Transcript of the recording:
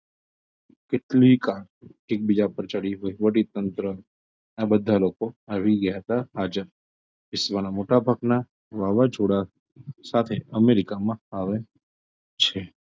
કેટલીક car એકબીજા પર ચડી હોય વળી તંત્ર આ બધાં લોકો આવી ગયાં હતાં હાજર વિશ્વના મોટા ભાગના વાવાઝોડા સાથે અમેરિકામાં આવે છે.